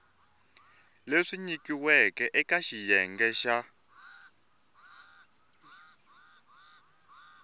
leswi nyikiweke eka xiyenge xa